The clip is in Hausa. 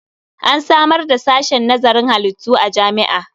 An samar da sashen nazarin halittu a jami'a.